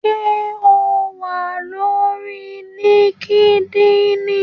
Ṣé o wà lórí líkídíìnì?